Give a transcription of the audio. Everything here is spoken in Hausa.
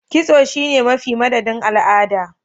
Kitso sune mafi m madadin al'ada